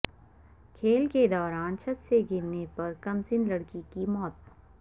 کھیل کے دوران چھت سے گرنے پر کمسن لڑکی کی موت